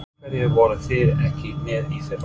Af hverju voruð þið ekki með í fyrra?